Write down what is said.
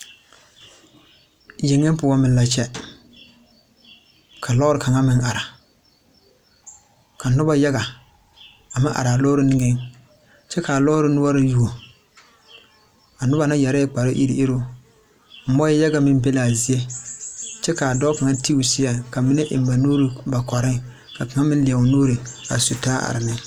Yeŋa poɔ meŋ la kyɛ ka lɔɛ p kaŋa meŋ are ka noba yaŋa meŋ are a lɔre niŋeŋ kyɛ kaa lɔre noɔri yuo a noba na yɛrɛɛ kpare iruŋ iruŋ muo yaŋa meŋ be la a zie kyɛ ka dɔɔ kaŋa ti o seɛŋ ka mine de ba nuuri eŋ ba kɔɛŋ ka kaŋ meŋ leɛ o nuuri su taa ate ne.